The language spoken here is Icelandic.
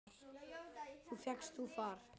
Þá fékkst þú far.